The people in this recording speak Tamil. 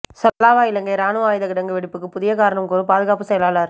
சலாவ இலங்கை இராணுவ ஆயுதக் கிடங்கு வெடிப்புக்கு புதிய காரணம் கூறும் பாதுகாப்புச் செயலாளர்